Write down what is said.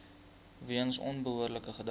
weens onbehoorlike gedrag